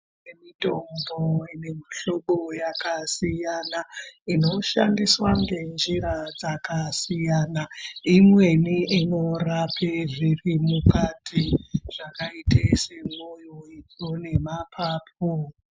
Mitombo inemihlobo yakasiyana inoshandisaa ngenjira dzakasiyana imweni inorape zviri mukati zvakaita semwoyo, itsvo nemaphaphu.